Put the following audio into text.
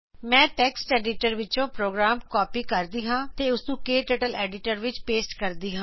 ਮੈਂ text editor ਵਿੱਚੋ program copy ਕਰੂੰਗੀ ਤੇ ਉਸਨੂੰ ਕਟਰਟਲ ਐਡੀਟਰ ਵਿੱਚ ਪੋਸਟ ਕਰੂੰਗੀ